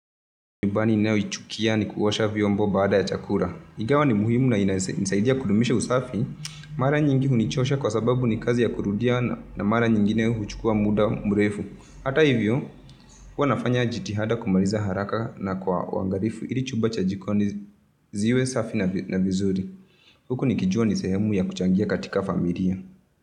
Nyumban ninayoichukia ni kuosha vyombo baada ya chakura. Ingawa ni muhimu na inisaidia kudumisha usafi. Mara nyingi hunichosha kwa sababu ni kazi ya kurudia na mara nyingine huchukuwa muda mrefu. Hata hivyo, huwa nafanya jitihada kumariza haraka na kwa uangarifu. Ili chumba cha jikoni ziwe safi na vizuri. Huku nikijuwa ni sehemu ya kuchangia katika familia.